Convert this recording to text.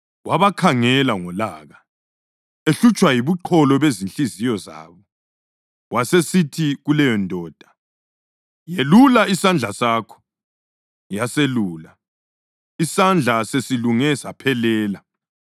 Wabakhangela ngolaka, ehlutshwa yibuqholo bezinhliziyo zabo, wasesithi kuleyondoda, “Yelula isandla sakho.” Yaselula, isandla sesilunge saphelela.